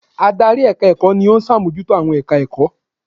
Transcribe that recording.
Adarí èka ẹ̀kọ́ ni ó sàmójútó àwọn èka ẹ̀kọ́